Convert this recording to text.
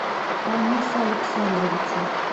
фаниса александровича